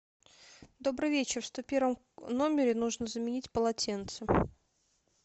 добрый вечер в сто первом номере нужно заменить полотенца